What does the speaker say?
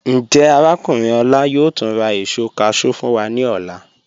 Njẹ́ Arákùnrin Ola yóò túń rà èṣọ cashew fún wa ni ọlá?